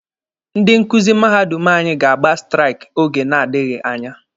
Ndị nkuzi mahadum anyị ga-agba straiki oge na-adịghi anya